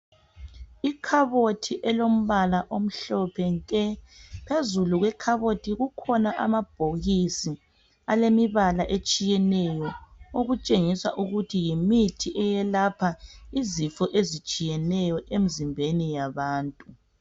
Ikhabothi elombala omhlophe nke phezulu kwekhabothi kukhona amabhokisi alemibala etshiyeneyo okutshengisa ukuthi yimithi eyelapha izifo ezitshiyeneyo emzimbeni yabantu.